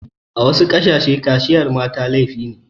A wasu ƙasashe kaciyar mata laifi ne.